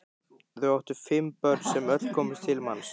Þau áttu fimm börn sem öll komust til manns.